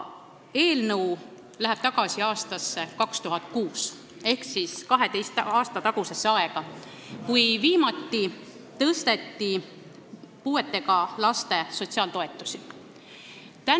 Eelnõu läheb tagasi aastasse 2006 ehk 12 aasta tagusesse aega, kui viimati tõsteti puuetega laste sotsiaaltoetusi.